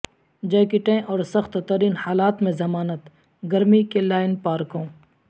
جیکٹیں اور سخت ترین حالات میں ضمانت گرمی کہ لائن پارکوں